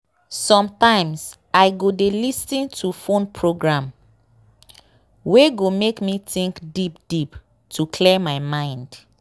sometimes i go dey lis ten to phone program wey go make me think deep deep to clear my mind.